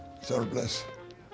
bless